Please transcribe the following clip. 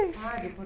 Ah, de